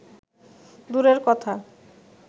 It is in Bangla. দুরের কথা